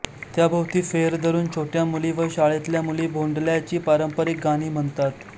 त्याभोवती फेर धरुन छोट्या मुली व शाळेतल्या मुली भोंडल्याची पारंपरिक गाणी म्हणतात